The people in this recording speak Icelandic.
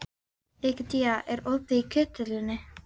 Egedía, er opið í Kjöthöllinni?